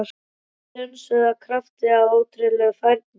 Sem dönsuðu af krafti- af ótrúlegri færni